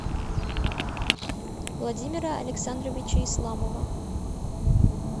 владимира александровича исламова